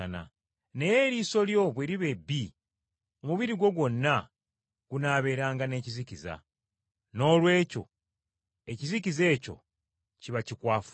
Naye eriiso lyo bwe liba ebbi, omubiri gwo gwonna gunaabeeranga n’ekizikiza, noolwekyo ekizikiza ekyo kiba kikwafu nnyo!”